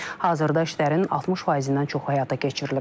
Hazırda işlərin 60%-dən çoxu həyata keçirilib.